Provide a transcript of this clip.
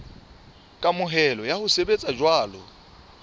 kamohelo ya ho sebetsa jwalo